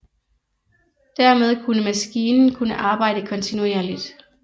Dermed kunne maskinen kunne arbejde kontinuerligt